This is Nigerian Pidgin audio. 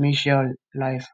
meshaal life